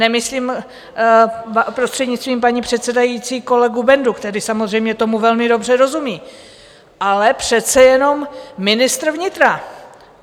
Nemyslím, prostřednictvím paní předsedající, kolegu Bendu, který samozřejmě tomu velmi dobře rozumí, ale přece jenom ministra vnitra.